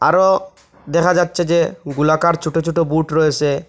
আরও দেখা যাচ্ছে যে গোলাকার ছোট ছোট বুট রয়েসে।